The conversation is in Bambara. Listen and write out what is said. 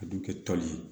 A dun kɛ tɔ ye